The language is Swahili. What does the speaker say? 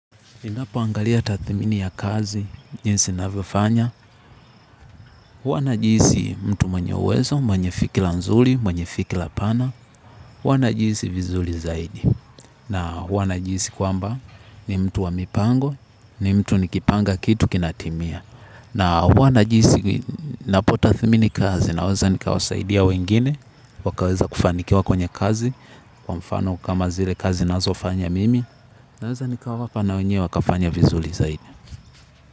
Ninapoangalia tathmini ya kazi, jinsi navyofanya, huwa najihisi mtu mwenye uwezo, mwenye fikila nzuli, mwenye fikila pana, hua najihisi vizuli zaidi. Na huwa najihisi kwamba ni mtu wa mipango, ni mtu nikipanga kitu kinatimia. Na huwa najihisi napotatathmini kazi naweza nikawasaidia wengine, wakaweza kufanikiwa kwenye kazi, kwa mfano kama zile kazi nazofanya mimi, naweza nikawapa na wenywe wakafanya vizuli zaidi.